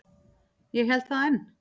Ég held það enn.